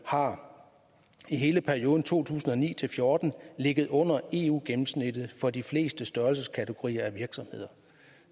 har i hele perioden to tusind og ni til fjorten ligget under eu gennemsnittet for de fleste størrelseskategorier af virksomheder